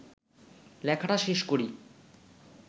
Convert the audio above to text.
লেখাটা শেষ করি